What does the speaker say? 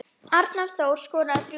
Arnór Þór skoraði þrjú mörk.